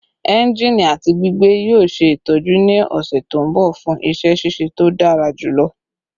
Enjini ati gbigbe yoo ṣe itọju ni ọsẹ to nbọ fun iṣẹ ṣiṣe to dara julọ